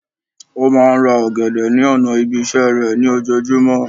Ó máa n ra ògèdè ní ònà ibi isé rè ní ojojúmó